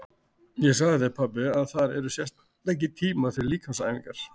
Ég sagði þér pabbi að þar eru sérstakir tímar fyrir líkamsæfingar.